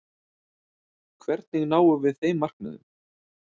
Hvernig náum við þeim markmiðum?